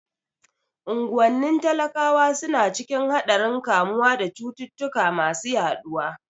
Unguwannin talakawa suna cikin haɗarin kamuwa da cututtuka masu yaɗuwa.